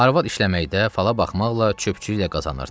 Arvad işləməkdə, fala baxmaqla, çöpcüylə qazanırdı.